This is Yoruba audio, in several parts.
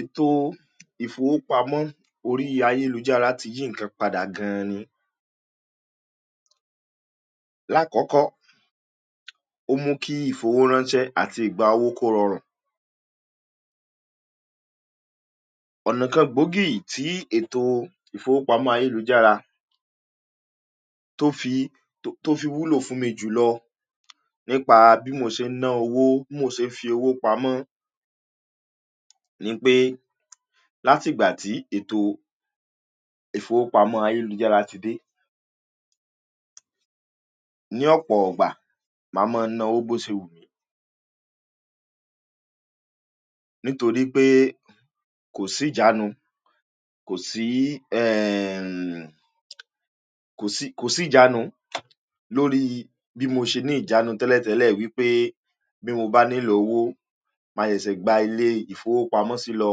Ètò ìfowópamọ́ orí ayélujára ti yí nkan padà gan-an ni. Lákòókò, ò mù kí ìfowórànṣé àti ìgbà owó kó rọrùn gan-an ni. Ọ̀nà kan gbógì tí Ètò ìfowópamọ́ ayélujára tó fi wúlò fún mi jùlọ ni pẹ̀lú bí mo ṣe ná owó, bí mo ṣe fi owó pamọ́, nìyẹn pé, láti ìgbà tí ètò ìfowópamọ́ ayélujára ti dé, ní ọ̀pọ̀ ìgbà, mba máa ná owó bí ó ṣe wù mí. Nítorí pé kò sí ìjànù, kò sí, kò sí, kò sí ìjànù lórí bí mo ṣe ní ìjànù tẹ́lẹ̀tẹ́lẹ̀ ni wípé bí mo bá nílò owó, mà ṣe è gbà ilé ìfowópamọ́ lọ,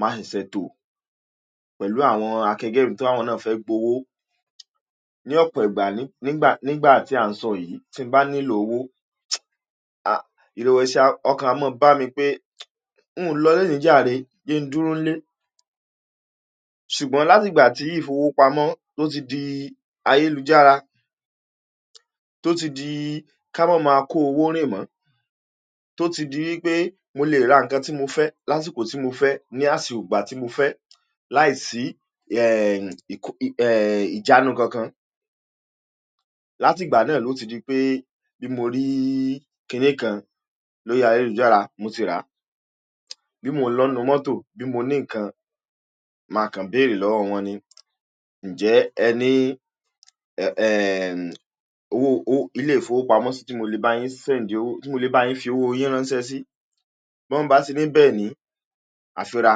mà ṣe ṣè tó, pẹ̀lú àwọn àkẹ́gbẹ́ mi t'awọn náà fẹ́ gbà owó ní ọ̀pọ̀ ìgbà. Nígbà tí a ń sọ yìí, tí ń bá nílò owó, ìrẹwẹ̀sì, ọkàn á má bà mí pé ń lọ lónìí jàrẹ jẹ́ kí n dúró nílé. Ṣùgbọ́n láti ìgbà tí ìfowópamọ́ ti di ayélujára, tó ti di ká máa kó owó rìn mọ́, tó ti di wípé mo lè rà nkan tí mo fẹ́ láìsí kó tí mo fẹ́, ní ìgbà tí mo fẹ́ láìsí ìjànù kankan. Láti ìgbà náà ló ti jẹ́ wípé bí mo rí kìnìún kan lórí ayé lùjáàrìá, mo ti rà. Bí mo ń lọ nínú mọ́tò, bí mo ní lọ, nkan máa kan bẹ̀rẹ̀ lọ́wọ́ wọn ní: njẹ́ ilé ìfowópamọ́ sí ti mo lè bá yín send owó, tí mo lè bá yín fi owó yín ránṣẹ́ sí? Bẹ́ẹ̀ ni wọ́n bá ní bẹẹni, àfírà,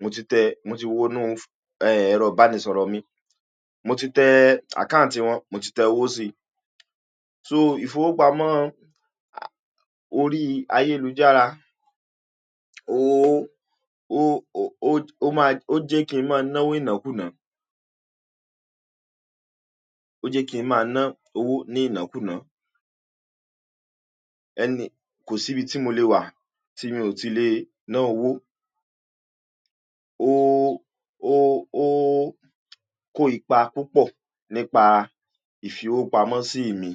mo ti tẹ̀, mo ti wọ inú ẹrọ bánísọ̀rọ̀ mi. Mo ti tẹ account wọn, mo ti tẹ owó sí. So ìfowópamọ́ orí ẹ̀rọ ayélujára ooo oo, jẹ́ kí n máa ná owó inú àkúnya náà. Ó jẹ́ kí n máa ná owó inú àkúnya náà. Ẹni, kò sí ibi tí mo lè wà tí mi ò tíì ná owó, ooo oooo kó ipa púpọ̀ nípa fí owó pamọ́ sí imi.